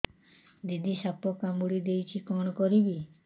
ଦିଦି ସାପ କାମୁଡି ଦେଇଛି କଣ କରିବି